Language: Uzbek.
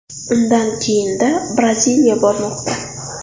Undan keyinda Braziliya bormoqda.